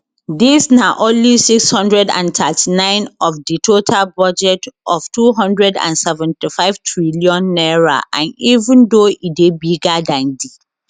dis na only 639 of di total budget of n275 trillion and even though e dey bigger dan di